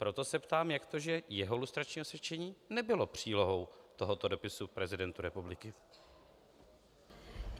Proto se ptám, jak to, že jeho lustrační osvědčení nebylo přílohou tohoto dopisu prezidentu republiky.